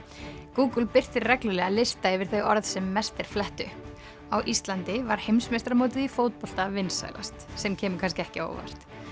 Google birtir reglulega lista yfir þau orð sem mest er flett upp á Íslandi var heimsmeistaramótið í fótbolta vinsælast sem kemur kannski ekki á óvart